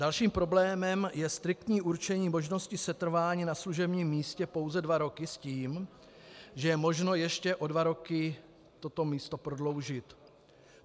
Dalším problémem je striktní určení možnosti setrvání na služebním místě pouze dva roky s tím, že je možno ještě o dva roky toto místo prodloužit.